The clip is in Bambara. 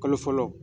Kalo fɔlɔ